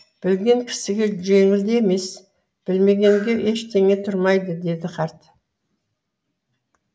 білген кісіге жеңіл де емес білмегенге ештеңеге тұрмайды дейді қарт